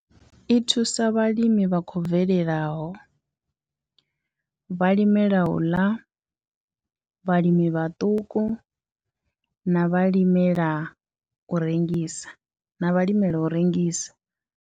I thusa vhalimi vha khou bvelelaho, vhalimela u ḽa, vhalimi vhaṱuku na vhalimela u rengisa na vhalimela u rengisa.